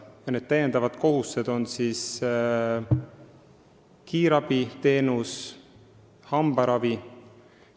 Need lisakohustused on kiirabiteenus ja hambaravi.